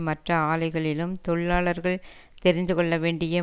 மற்ற ஆலைகளிலும் தொழிலாளர்கள் தெரிந்து கொள்ள வேண்டிய